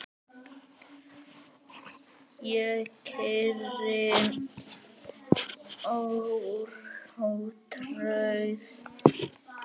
Ég keyri ótrauð